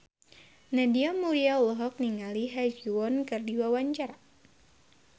Nadia Mulya olohok ningali Ha Ji Won keur diwawancara